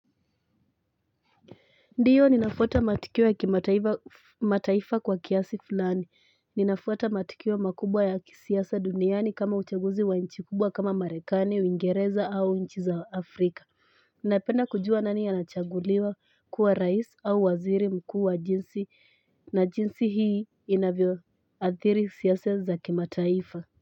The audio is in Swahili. Ndiyo ninafuata matukio ya kimataifa kwa kiasi fulani. Ninafuata matukio makubwa ya kisiasa duniani kama uchaguzi wa nchi kubwa kama marekani, uingereza au nchi za afrika. Ninapenda kujua nani anachaguliwa kuwa rais au waziri mkuu. Na jinsi hii inavyoathiri siasa za kimataifa.